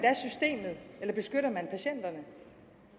da beskytter man patienterne